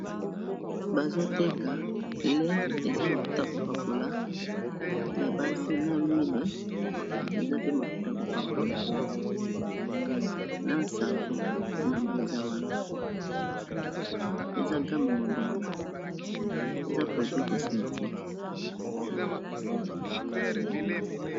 Bazoteka lait eza mafuta kopakola ya basi na luile eza pe mafuta ya kopakola na savon nango eza wana eza game mobimba eza produit cosmétique.